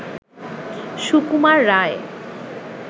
Sukumar Ray